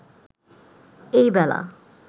এই বেলা